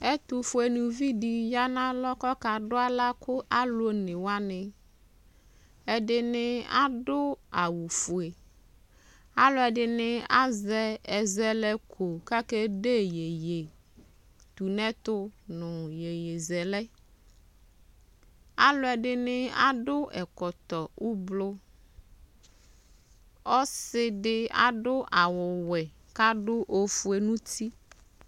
ɛtofue uluvi di ya n'alɔ k'ɔka do ala ka alo one wani ɛdini ado awu fue aloɛdini azɛ ɛzɛlɛko k'ake de yeye tu n'ɛto no yeye zɛlɛ aloɛdini ado ɛkɔtɔ ublɔ ɔse di ado awu wɛ k'ado ofue n'uti